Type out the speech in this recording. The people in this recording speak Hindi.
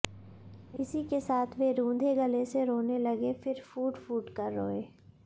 इसी के साथ वे रुंधे गले से रोने लगे फिर फूटफूट कर रोए